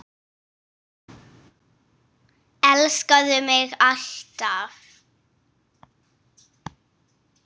Elskaðu mig alt af.